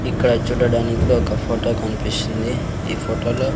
ఇక్కడ చూడడానికి ఒక ఫొటో కన్పిస్తుంది ఈ ఫోటో లో--